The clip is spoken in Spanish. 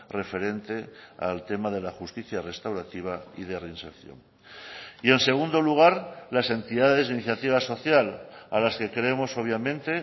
referente al tema de la justicia restaurativa y de reinserción y en segundo lugar las entidades de iniciativa social a las que creemos obviamente